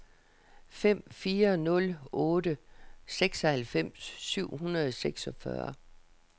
fem fire nul otte seksoghalvfems syv hundrede og seksogfyrre